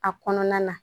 A kɔnɔna na